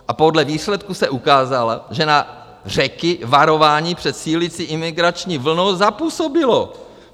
A podle výsledků se ukázalo, že na Řeky varování před sílící imigrační vlnou zapůsobilo.